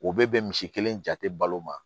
U bɛ bɛn misi kelen jatelo ma